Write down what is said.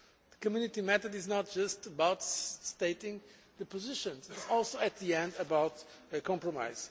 The Community method is not just about stating positions, it is also in the end about compromise.